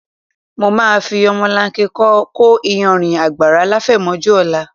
Mo máa fi ọmọlanke kó iyanrìn àgbàrá láfẹ̀mọ́júmọ́ ọ̀la